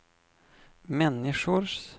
människors